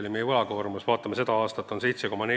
Kui me vaatame seda aastat, siis see on 7,4%.